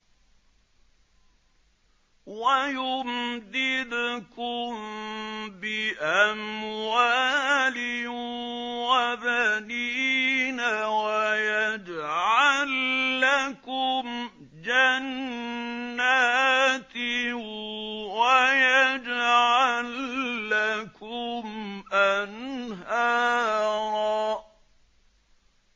وَيُمْدِدْكُم بِأَمْوَالٍ وَبَنِينَ وَيَجْعَل لَّكُمْ جَنَّاتٍ وَيَجْعَل لَّكُمْ أَنْهَارًا